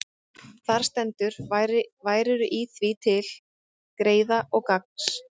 Þar stendur: Værirðu í því til greiða og gagns,